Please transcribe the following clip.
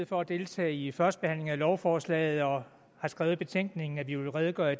for at deltage i førstebehandlingen af lovforslaget og har skrevet i betænkningen at vi vil redegøre